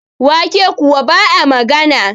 wake kuwa ba a magana